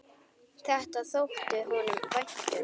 Þetta þótti honum vænt um.